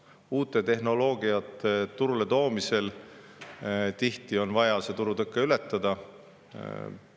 Aga uute tehnoloogiate turule toomisel on tihti vaja turutõke ületada.